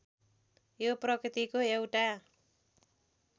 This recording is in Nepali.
यो प्रकृतिको एउटा